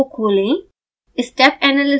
इस फोल्डर को खोलें